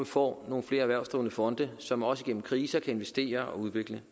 får nogle flere erhvervsdrivende fonde som også igennem kriser kan investere og udvikle